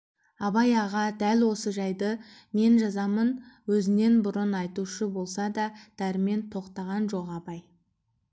абай аға дәл осы жайды мен жазамын өзінен бұрын айтушы болса да дәрмен тоқтаған жоқ абай